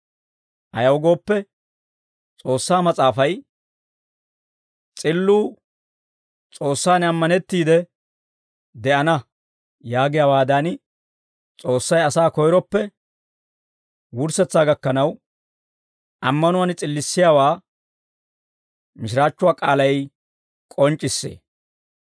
Ayaw gooppe, S'oossaa Mas'aafay, «S'illuu S'oossaan ammanettiide de'ana» yaagiyaawaadan, S'oossay asaa koyroppe wurssetsaa gakkanaw, ammanuwaan s'illissiyaawaa mishiraachchuwaa k'aalay k'onc'c'issee.